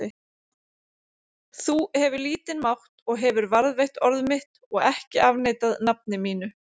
Þú hefur lítinn mátt og hefur varðveitt orð mitt og ekki afneitað nafni mínu.